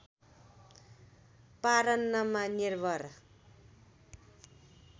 परान्नमा निर्भर